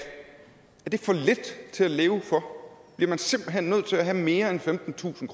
for lidt til at leve for bliver man simpelt hen nødt til at have mere end femtentusind